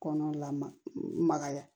Kɔnɔ la magaya